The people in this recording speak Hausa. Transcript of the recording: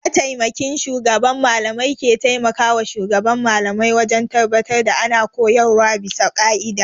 Mataimakin shugaban mallamai ke taimakawa shugaban Mallamai wajen tabbatar da ana koyarwa bisa ƙa'ida.